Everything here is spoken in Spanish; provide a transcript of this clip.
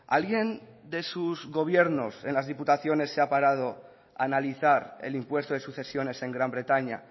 alguien de sus gobiernos en las diputaciones se ha parado a analizar el impuesto de sucesiones en gran bretaña